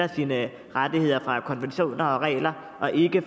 sine rettigheder fra konventioner og regler og ikke af